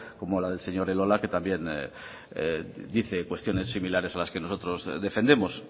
como la del señor elola que también dice cuestiones similares a las que nosotros defendemos